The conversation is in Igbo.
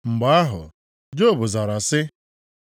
Mgbe ahụ, Job zara sị: